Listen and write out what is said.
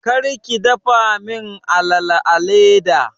Kar ki dafa min alala a leda!